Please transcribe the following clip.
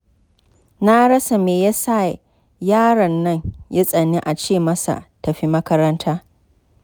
Na rasa me ya sa, yaro nan ya tsani a ce masa tafi makaranta